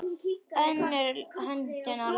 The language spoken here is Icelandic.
Önnur höndin á lofti.